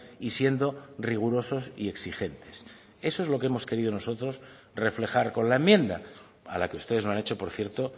y siendo rigurosos y exigentes eso es lo que hemos querido nosotros reflejar con la enmienda a la que ustedes no han hecho por cierto